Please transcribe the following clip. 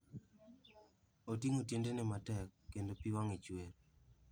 Oting'o tiendene matek, kendo pi wang'e chuer.